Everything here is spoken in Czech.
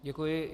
Děkuji.